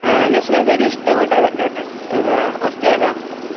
അഹ് നശ്വലാക്ക് ഏറ്റവും ഇഷ്ടപ്പെട്ട എന്നാ അഹ്